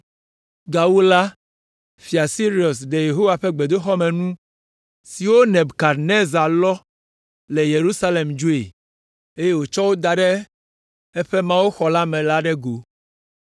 Gawu la, Fia Sirus ɖe Yehowa ƒe gbedoxɔmenu siwo Nebukadnezar lɔ le Yerusalem dzoe, eye wòtsɔ wo da ɖe eƒe mawuxɔ me la ɖe go.